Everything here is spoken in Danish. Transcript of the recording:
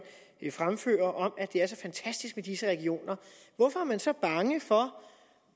er fremfører at det er så fantastisk med disse regioner hvorfor er man så bange for